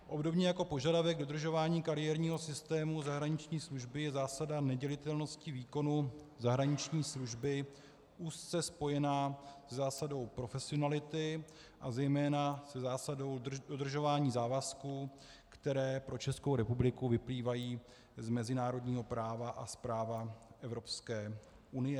Obdobně jako požadavek dodržování kariérního systému zahraniční služby je zásada nedělitelnosti výkonu zahraniční služby úzce spojena se zásadou profesionality a zejména se zásadou udržování závazků, které pro Českou republiku vyplývají z mezinárodního práva a z práva Evropské unie.